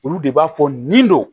Olu de b'a fɔ nin don